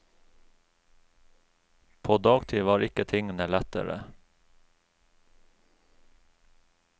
På dagtid var ikke tingene lettere.